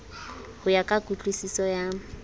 ho ya ka kutlwisiso ya